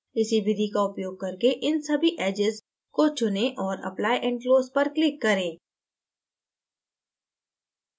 इसी विधि का उपयोग करके इन सभी edges को चुनें और apply and close पर click करें